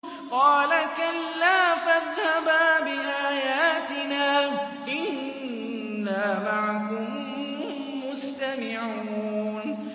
قَالَ كَلَّا ۖ فَاذْهَبَا بِآيَاتِنَا ۖ إِنَّا مَعَكُم مُّسْتَمِعُونَ